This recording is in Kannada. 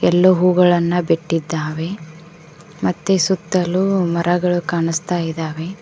ಇಲ್ಲೂ ಹೂಗಳನ್ನು ಬಿಟ್ಟಿದ್ದಾವೆ ಮತ್ತೆ ಸುತ್ತಲು ಮರಗಳು ಕಾಣುಸ್ತಾ ಇದ್ದಾವೆ.